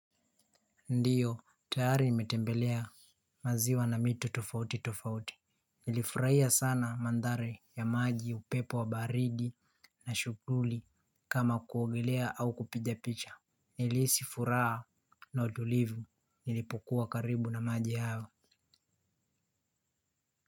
Ndio tayari nimetembelea maziwa na mito tofauti tofauti. Nilifurahia sana mandhari ya maji, upepo wa baridi na shughuli kama kuogelea au kupiga picha. Nilihisi furaha na utulivu nilipokuwa karibu na maji hayo.